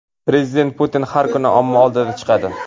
Prezident Putin har kuni omma oldiga chiqadi.